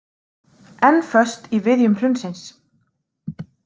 Enn föst í viðjum hrunsins